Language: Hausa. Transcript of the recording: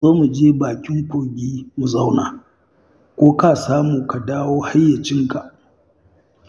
Ka zo mu je bakin kogi mu zauna, ko ka samu ka dawo hayyacinka